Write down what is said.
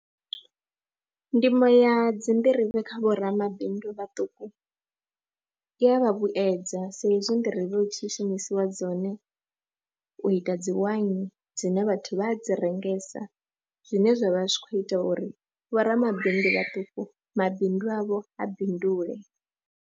Ndimo ya dzi nḓirivhe kha vho ramabindu vhaṱuku i ya vha vhuyedza sa izwi nḓirivhe u tshi shumisiwa dzone u ita dzi waini dzine vhathu vha a dzi rengesa zwine zwa vha zwi khou ita uri vho ramabindu vhaṱuku mabindu avho a bindule.